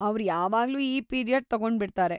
ಅವ್ರ್ ಯಾವಾಗ್ಲೂ ಆ ಪೀರಿಯಡ್ ತಗೊಂಡ್ಬಿಡ್ತಾರೆ.